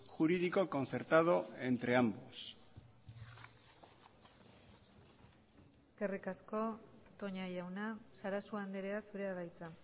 jurídico concertado entre ambos eskerrik asko toña jauna sarasua andrea zurea da hitza